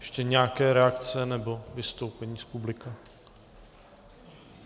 Ještě nějaké reakce nebo vystoupení z publika?